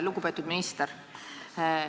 Lugupeetud minister!